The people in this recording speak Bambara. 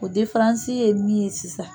O difaransi ye min ye sisan